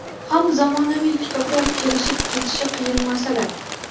ham zamonaviy kitoblar kelishib ketishi qiyin masala.